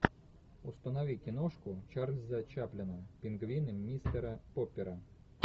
установи киношку чарльза чаплина пингвины мистера поппера